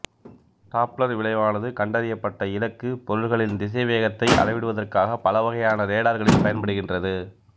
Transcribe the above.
Doppler விளைவானது கண்டறியப்பட்ட இலக்குப் பொருள்களின் திசைவேகத்தை அளவிடுவதற்காக பல வகையான ரேடார்களில் பயன்படுகின்றது